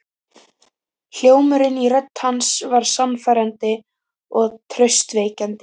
Hljómurinn í rödd hans var sannfærandi og traustvekjandi.